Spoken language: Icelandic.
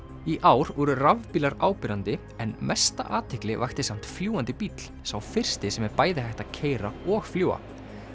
í ár voru rafbílar áberandi en mesta athygli vakti samt fljúgandi bíll sá fyrsti sem er bæði hægt að keyra og fljúga